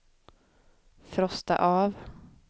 frosta av